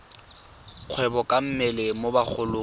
kgwebo ka mmele mo bagolong